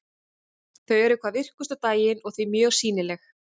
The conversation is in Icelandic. Þau eru hvað virkust á daginn og því mjög sýnileg.